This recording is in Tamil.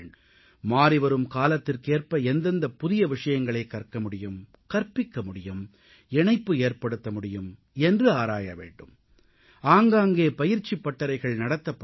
மாறிவரும் காலத்திற்கேற்ப எந்தெந்த புதிய விஷயங்களை கற்க முடியும் கற்பிக்க முடியும் இணைப்பு ஏற்படுத்த முடியும் என்று ஆராய வேண்டும் ஆங்காங்கே பயிற்சிப் பட்டறைகள் நடத்தப்பட வேண்டும்